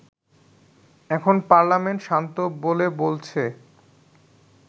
এখন পার্লামেন্ট শান্ত বলে বলছে